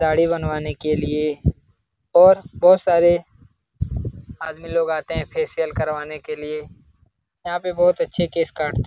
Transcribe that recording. दाढ़ी बनवाने के लिए और बोहोत सारे आदमी लोग आते है फेसिअल करवाने के लिए। यहाँ पे बोहोत अच्छे केश काटते --